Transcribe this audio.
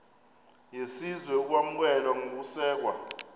yesizwe ukwamkelwa nokusekwa